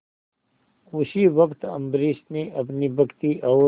उसी वक्त अम्बरीश ने अपनी भक्ति और